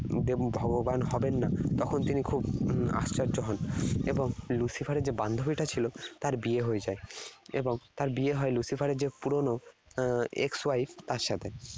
ভগবান হবেন না, তখন তিনি খুব আশ্চর্য হন। এবং Lucifer এর যে বান্ধবীটা ছিল, তার বিয়ে হয়ে যায়। এবং তার বিয়ে হয় Lucifer এর যে পুরনো ex wife তার সাথে